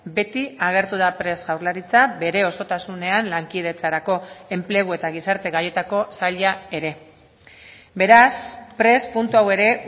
beti agertu da prest jaurlaritza bere osotasunean lankidetzarako enplegu eta gizarte gaietako saila ere beraz prest puntu hau ere